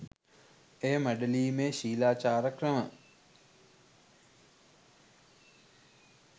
එය මැඩලීමේ ශීලාචාර ක්‍රම